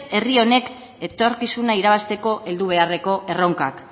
herri honek etorkizuna irabazteko heldu beharreko erronkak